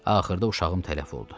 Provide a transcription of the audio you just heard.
Axırda uşağım tələf oldu.